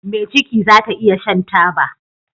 Me ciki zata iya Shan taba